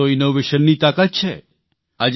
આ જ તો ઇનોવેશનની તાકાત છે